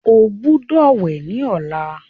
o gbódò wẹ ní ọlá.